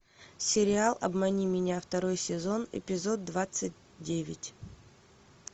сериал обмани меня второй сезон эпизод двадцать девять